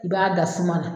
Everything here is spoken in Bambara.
I b'a da suma na